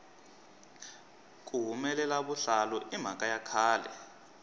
ku hulela vuhlalu i mhaka ya khale